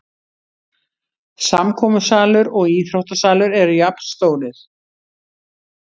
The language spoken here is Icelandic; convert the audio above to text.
Samkomusalur og íþróttasalur eru jafnstórir